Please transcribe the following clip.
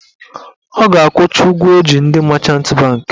Ọ ga-akwụcha ụgwọ ọ ji ndị machant bankị